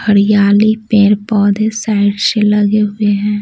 हरियाली पेड़ पौधे साइड से लगे हुए हैं।